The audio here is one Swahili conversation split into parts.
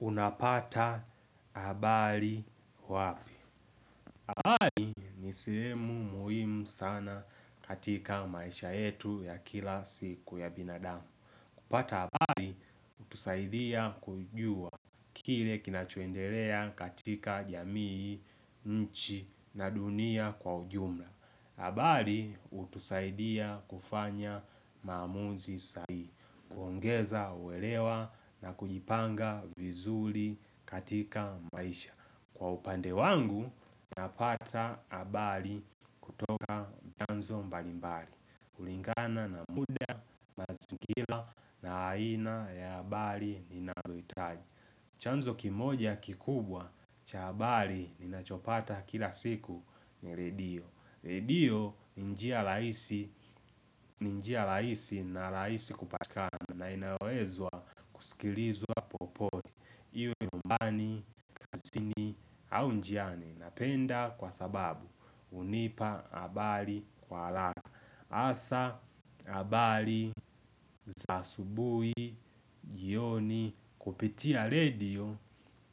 Unapata abari wapi? Abali ni sihemu muhim sana katika maisha yetu ya kila siku ya binadamu. Kupata abali, utusaidia kujua kile kinachuendelea katika jamii, nchi na dunia kwa ujumla. Abali, utusaidia kufanya maamuzi sahi. Uongeza, uelewa na kujipanga vizuli katika maisha. Kwa upande wangu, napata abali kutoka mbalimbali. Kulingana na muda, mazingila na aina ya abali ninazoitaji. Chanzo kimoja kikubwa, cha abali ninachopata kila siku ni redio. Redio ni njia rahisi ni njia raisi na raisi kupatikana, na inawezwa sikilizwa popote. Iwe umbani, kazini au njiani, napenda kwa sababu unipa abali kwa ala Asa abali za asubui, jioni kupitia redio,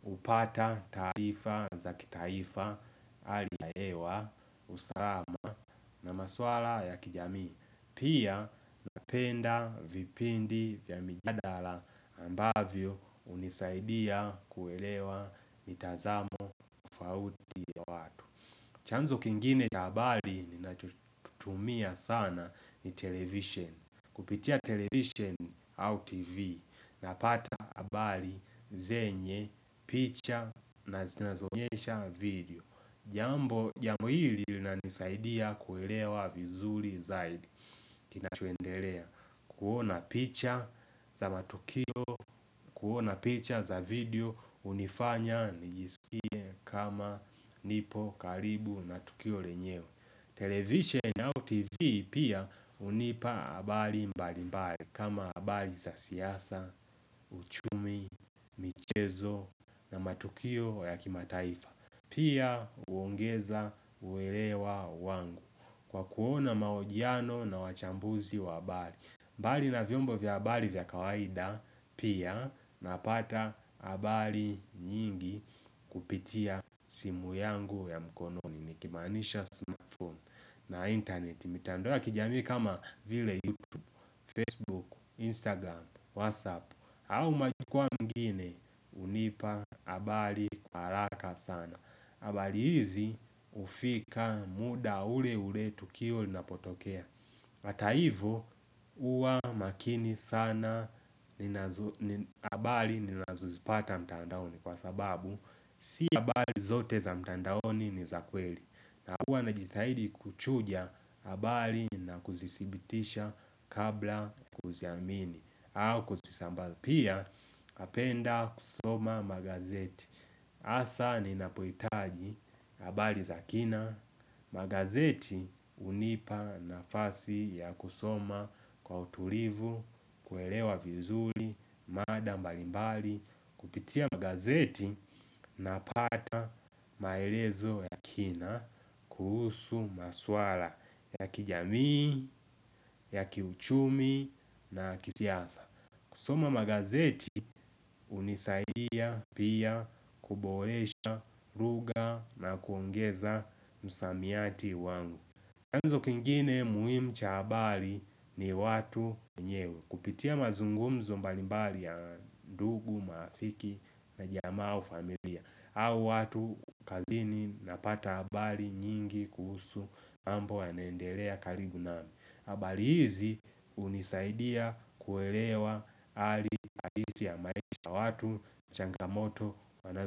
upata taarifa za kitaifa hali ya hewa, usalama na maswala ya kijamii. Pia napenda vipindi vya mijadala ambavyo unisaidia kuelewa mitazamo fauti chanzo kingine ja abali ninacho t tumia sana ni television. Kupitia television au tv, napata abali zenye, picha naz zinazoonyesha video. Jambo jambo hili linanisaidia kuelewa vizuri zaidi. Kinachuendelea. Kuona picha za matukio kuona picha za video unifanya nijisikie kama nipo karibu na tukio renyewe. Television au TV pia unipa abali mbalimbali, kama abali za siasa uchumi, michezo na matukio yakimataifa. Pia uongeza uelewa wangu, kwa kuona maojiano na wachambuzi wa abali. Mbali na vyombo vya abali vya kawaida, pia, napata abali nyingi kupitia simu yangu ya mkononi. Nikimaanisha sima phone. Na internet. Mitandao ya kijami kama vile YouTube, Facebook, Instagram, WhatsApp au majukwaa mengine, unipa abali kwa alaka sana. Abali hizi ufika muda ule ule tukio linapotokea. Ata ivo, uwa makini sana ninazo ni abali ninazuzipata mtandaoni, kwa sababu, si abali zote za mtandaoni ni za kweli. Na uwa najithahidi kuchuja abali na kuzisibitisha kabla kuziamini au kuzisamba pia apenda kusoma magazeti. Asa ninapoitaji abali za kina, magazeti unipa nafasi ya kusoma kwa utulivu, kuelewa vizuli, mada mbalimbali, kupitia magazeti napata maelezo ya kina kuhusu maswala ya kijamii ya kiuchumi na kisiasa. Kusoma magazeti unisaidia pia kuboresha ruga na kuongeza msamiati wangu. Anzo kingine muhimu cha abali ni watu nyewe, kupitia mazungumzo mbalimbali ya ndugu, maafiki na jamaa au familia. Au watu kazini napata abali nyingi kuhusu ambo aenendelea karibu nami. Abali hizi unisaidia kuelewa ali ahisi ya maish ya watu, changamoto wana.